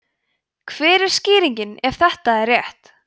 hver er skýringin ef þetta er rétt